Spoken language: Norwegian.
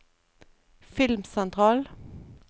filmsentral